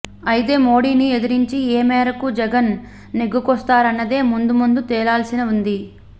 అయితే మోడీని ఎదిరించి ఏ మేరకు జగన్ నెగ్గుకొస్తారన్నదే ముందు ముందు తేలాల్సి ఉంది